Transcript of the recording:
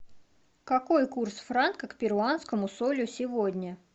какой курс франка к перуанскому солю сегодня